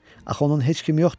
Axı onun heç kim yoxdur?